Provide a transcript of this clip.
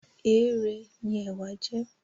Ẹrèé ni ẹ̀wà jẹ́